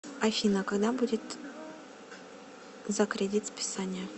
афина когда будет за кредит списание